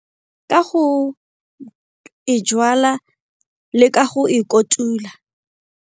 Ka go e le ka go e kotula.